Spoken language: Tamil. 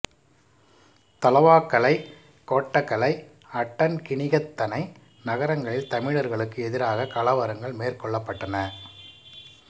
தலவாக்கலை கொட்டகலை அட்டன் கினிகத்தனை நகரங்களில் தமிழர்களுக்கு எதிராக கலவரங்கள் மேற்கொள்ளப்பட்டன